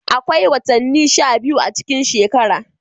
Akwai watanni sha biyu a cikin shekara.